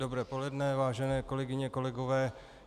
Dobré poledne, vážené kolegyně, kolegové.